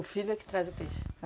O filho é que traz o peixe?